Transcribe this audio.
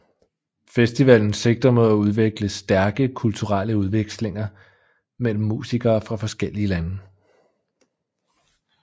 Festivalen sigter mod at udvikle stærke kulturelle udvekslinger mellem musikere fra forskellige lande